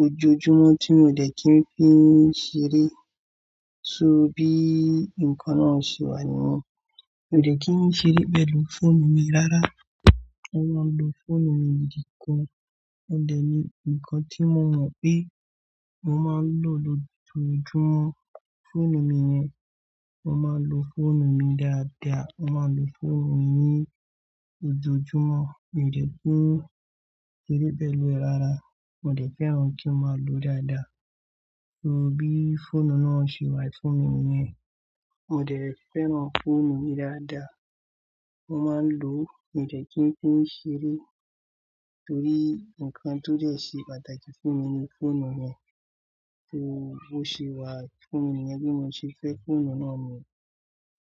ojoojúmọ́ tí mio dẹ̀ kín fíì ṣeré, so bí nǹkan náà ṣe wà níyen, mio dẹ̀ kín ṣeré pẹ̀lú fóònù mi rárá. Mo máa ń lo fóònù mi nìkan, òun dẹ̀ ni nǹkan tí mo mọ̀ pé mo máa ń lò lójoojúmọ́, fóònù mi yẹn, mo máa ń lo fóònù mi dáadáa, mo máa ń lo fóònù mi ní ojoojúmọ́, mi ò dẹ̀ kín ṣeré pẹ̀lú ẹ̀ rárá, mo dẹ̀ fẹ́ràn kí n máa lò ó dáadáa, so bí fóònù náà ṣe wà fún mi yẹn, mo dẹ̀ fẹ́ràn fóònù mi dáadáa, mo máa ń lò ó, mi ò dẹ̀ kín fíì ṣeré torí nǹkan tó dẹ̀ ṣe pàtàkì fún mi ni fóònù yẹn, so bó ṣe wà fún mi yẹn bí mo ṣe fẹ́ fóònù náà mi.